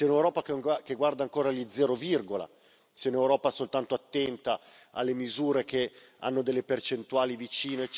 ancora gli zero virgola, se un'Europa soltanto attenta alle misure che hanno delle percentuali vicine eccetera, oppure se un'Europa che guarda alle grandi sfide e al futuro.